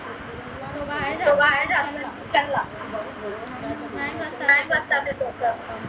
तो आहे का चांगला